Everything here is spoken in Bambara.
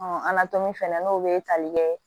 an na to min fɛnɛ n'o be tali kɛ